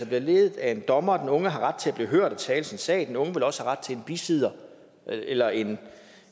bliver ledet af en dommer og den unge har ret til at blive hørt og tale sin sag den unge vil også have ret til en bisidder eller en